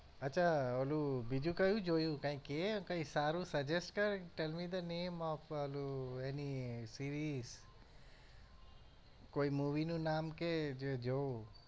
અચ્છા ઓલું બીજું કયું જોયું કઈ કહે કઈ સારું suggest કર tell me the name of ઓલું any series કોઈ movie નું નામ કહે જે જોઉં.